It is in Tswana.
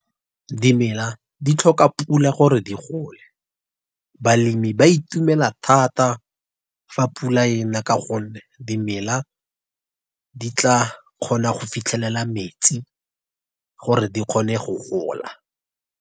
Dimela di tlhoka pula gore di gole. Balemi ba itumela thata, fa pula e na ka gonne dimela di tla kgona go fitlhelela metsi gore di kgone go gola.